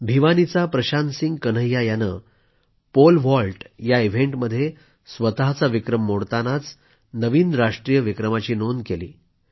भिवानीचा प्रशांतसिंह कन्हैया याने pole vault या इव्हेंटमध्ये स्वतःचा विक्रम मोडतानाच नवीन राष्ट्रीय विक्रमाची नोंद केली